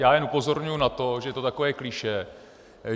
Já jen upozorňuji na to, že je to takové klišé.